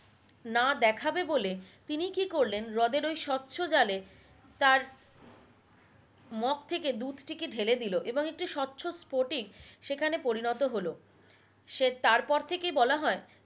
না দেখাবে বলে তিনি কি করলেন হ্রদের ওই স্বচ্ছ জলে তার মগ থেকে দুধটি কে ঢেলে দিলো এবং একটি স্বচ্ছ স্পোটিক সেখানে পরিণত হলো সে তারপর থেকেই বলা হয়